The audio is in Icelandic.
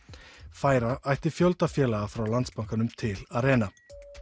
færa ætti fjölda félaga frá Landsbankanum til Arena